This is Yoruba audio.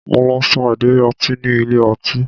Mo lọ sa ìdérí ọtí ní ilé ọtí